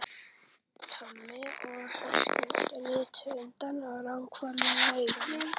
Tommi og Höskuldur litu undan og ranghvolfdu augunum.